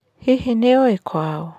Hihi nĩ ũĩ kwao?